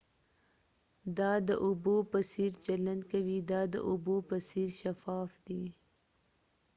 دا د اوبو په څیر چلند کوي دا د اوبو په څیر شفاف دی